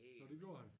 Nå det gjorde han